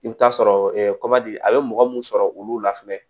I bɛ t'a sɔrɔ a bɛ mɔgɔ mun sɔrɔ olu la fɛnɛ